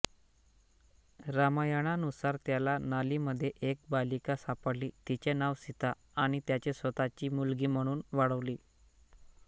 रामायणानुसार त्याला नालीमध्ये एक बालिका सापडली तिचे नाव सीता आणि त्याने स्वतःची मुलगी म्हणून वाढवली